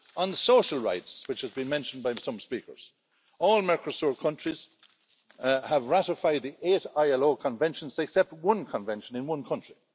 On social rights, which have been mentioned by some speakers all Mercosur countries have ratified the eight ILO conventions, except one convention in one country.